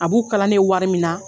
A b'u kala ne ye wari min na